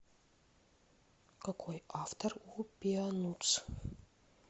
какой автор у пеанутс